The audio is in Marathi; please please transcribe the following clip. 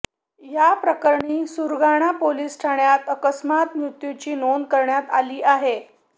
याप्रकरणी सुरगाणा पोलीस ठाण्यात अकस्मात मृत्यूची नोंद करण्यात आली आहे